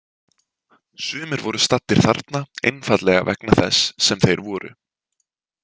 Sumir voru staddir þarna einfaldlega vegna þess sem þeir voru.